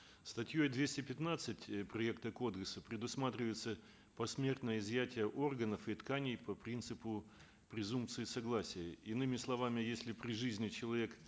статьей двести пятнадцать э проекта кодекса предусматривается посмертное изъятие органов и тканей по принципу презумпции согласия иными словами если при жизни человек